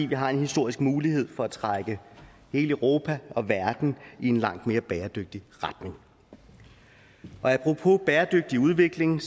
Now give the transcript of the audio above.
vi har en historisk mulighed for at trække hele europa og verden i en langt mere bæredygtig retning apropos bæredygtig udvikling